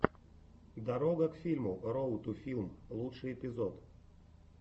дорога к фильму роуд ту филм лучший эпизод